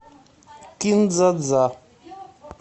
кин дза дза